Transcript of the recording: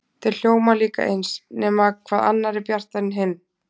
Þeir hljóma líka eins, nema hvað annar er bjartari en hinn.